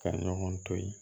Ka ɲɔgɔn to ye